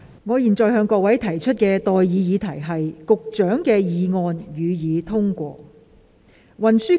我現在向各位提出的待議議題是：保安局局長動議的議案，予以通過。